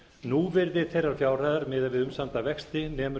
núvirði þeirrar fjárhæðar miðað við umsamda vexti nemur